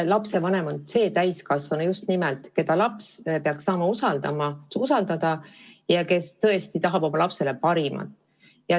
Lapsevanem on just nimelt see täiskasvanu, keda laps peaks saama usaldada ja kes tõesti tahab oma lapsele parimat.